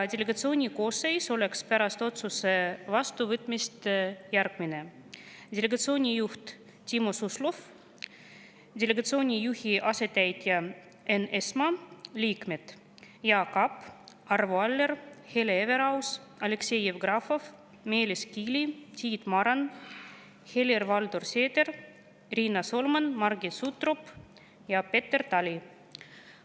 Delegatsiooni koosseis oleks pärast otsuse vastuvõtmist järgmine: delegatsiooni juht Timo Suslov, delegatsiooni juhi asetäitja Enn Eesmaa, liikmed Jaak Aab, Arvo Aller, Hele Everaus, Aleksei Jevgrafov, Meelis Kiili, Tiit Maran, Helir-Valdor Seeder, Riina Solman, Margit Sutrop ja Peeter Tali.